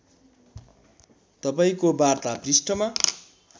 तपाईँको वार्ता पृष्ठमा